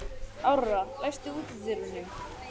Áróra, læstu útidyrunum.